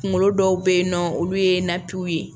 Kunkolo dɔw bɛ yen nɔ olu ye natiw ye.